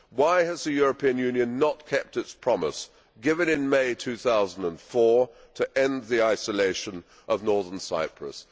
Why has the European Union not kept its promise given in May 2004 to end the isolation of Northern Cyprus?